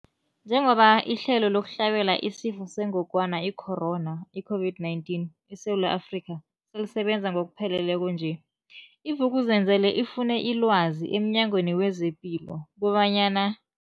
Njengoba ihlelo lokuhlabela isiFo sengogwana i-Corona, i-COVID-19, eSewula Afrika selisebenza ngokupheleleko nje, i-Vuk'uzenzele ifune ilwazi emNyangweni wezePilo kobanyana.